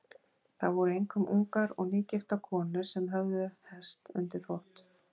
Það voru einkum ungar og nýgiftar konur sem höfðu hest undir þvott.